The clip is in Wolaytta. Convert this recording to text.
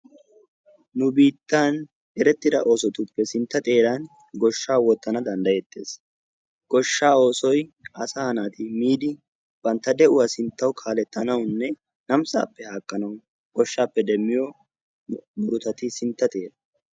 Nu biittaan erettida oosotuppe sintta xeeran goshshaa wottanawu danddayettees goshshaa oosoy asaa naati miidi bantta de"uwaa sinttawu kaalettanawunne naamisaappe attanawu goshshappe demmiyo murutati sintta xera.